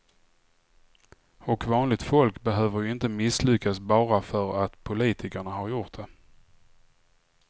Och vanligt folk behöver ju inte misslyckas bara för att politikerna har gjort det.